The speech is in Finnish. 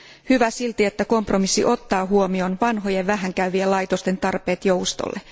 Hyvä silti, että kompromissi ottaa huomioon vanhojen vähän käyvien laitosten tarpeet joustolle.